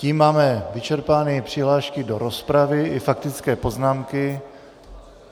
Tím máme vyčerpány přihlášky do rozpravy i faktické poznámky.